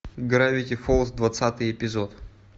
гравити фолз двадцатый эпизод